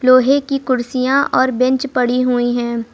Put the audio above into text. लोहे की कुर्सियां और बेंच पड़ी हुई हैं।